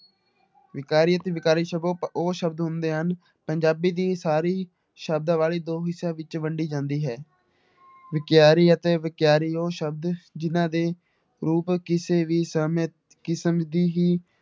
ਵਿਕਾਰੀ ਅਤੇ ਵਿਕਾਰੀ ਸ਼ਬ ਉਹ ਸ਼ਬਦ ਹੁੰਦੇ ਹਨ, ਪੰਜਾਬੀ ਦੀ ਸਾਰੀ ਸ਼ਬਦਾਵਲੀ ਦੋ ਹਿੱਸਿਆਂ ਵਿੱਚ ਵੰਡੀ ਜਾਂਦੀ ਹੈ, ਵਿਕਾਰੀ ਅਤੇ ਵਿਕਾਰੀ ਉਹ ਸ਼ਬਦ ਜਿਹਨਾਂ ਦੇ ਰੂਪ ਕਿਸੇ ਵੀ ਸਮੇਂ ਕਿਸਮ ਦੀ ਹੀ